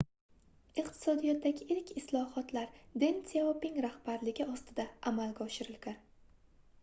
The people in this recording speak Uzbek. iqtisodiyotdagi ilk islohotlar den syaoping rahbarligi ostida amalga oshirilgan